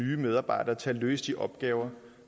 nye medarbejdere til at løse de opgaver